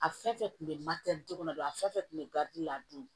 A fɛn fɛn kun bɛ kɔnɔ don a fɛn fɛn kun bɛ la a dun